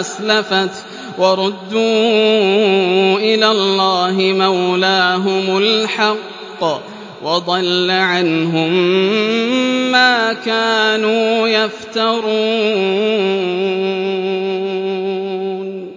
أَسْلَفَتْ ۚ وَرُدُّوا إِلَى اللَّهِ مَوْلَاهُمُ الْحَقِّ ۖ وَضَلَّ عَنْهُم مَّا كَانُوا يَفْتَرُونَ